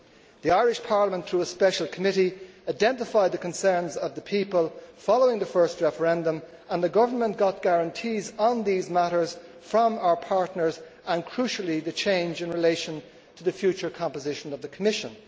The Irish Parliament, through a special committee, identified the concerns of the people following the first referendum and the government got guarantees on these matters from our partners and, crucially, the change in relation to the future composition of the Commission.